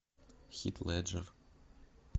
хит леджер